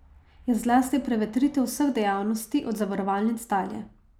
Je zlasti prevetritev vseh dejavnosti, od zavarovalnic dalje.